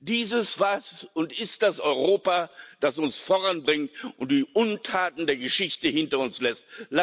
Dieses war und ist das Europa, das uns voranbringt und die Untaten der Geschichte hinter uns lässt.